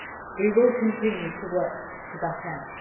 We will continue to work to that end.